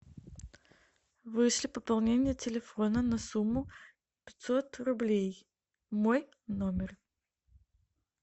вышли пополнение телефона на сумму пятьсот рублей мой номер